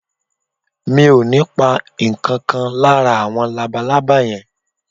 Mi ò ní pa ǹkan kan lára àwọn labalábá yẹn